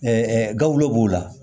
gawo b'u la